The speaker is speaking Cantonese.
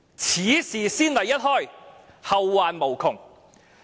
此事先例一開，後患無窮。